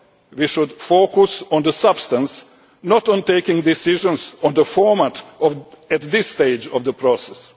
body. We should focus on the substance, not on taking decisions on the format at this stage of the process.